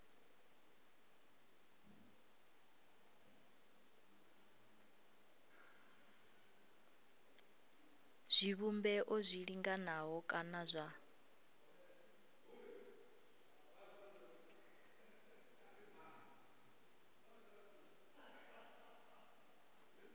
zwivhumbeo zwi linganaho kana zwa